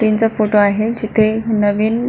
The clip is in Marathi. ट्रेन चा फोटो आहे जेथे नवीन --